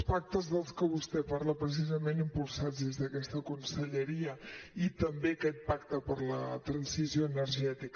els pactes dels que vostè parla precisament impulsats des d’aquesta conselleria i també aquest pacte per la transició energètica